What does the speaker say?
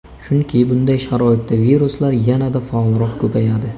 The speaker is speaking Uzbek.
Chunki bunday sharoitda viruslar yanada faolroq ko‘payadi.